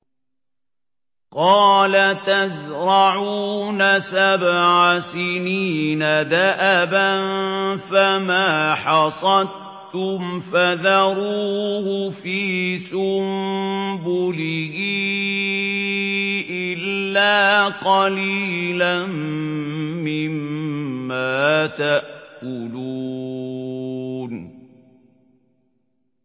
قَالَ تَزْرَعُونَ سَبْعَ سِنِينَ دَأَبًا فَمَا حَصَدتُّمْ فَذَرُوهُ فِي سُنبُلِهِ إِلَّا قَلِيلًا مِّمَّا تَأْكُلُونَ